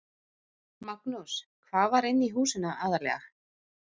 Magnús: Hvað var inni í húsinu aðallega?